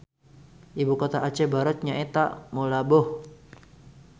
Ibu kota Aceh Barat nyaeta Meulaboh